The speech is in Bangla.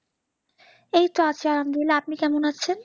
এই তো আছি আলহামদুলিল্লাহ আপনি কেমন আছেন?